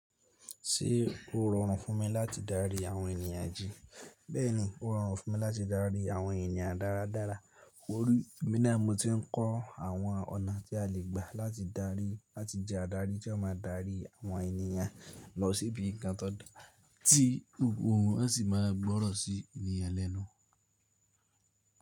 Ṣé ó rọrùn fún mi láti darí àwọn ènìyàn jí? Bẹ́ẹ̀ni, ó rọrùn fún mi láti darí àwọn ènìyàn dáradára. Wórí, emi nàá mo ti ń kọ́ àwọn ọ̀nà tí a lè gbà láti darí láti jẹ́ adarí tí ó má a darí àwọn ènìyàn lọ sí ibi ǹkan tó dára tí gbogbo òun a sì máa gbọ́rọ̀ sí ènìyàn ẹlẹ́nu.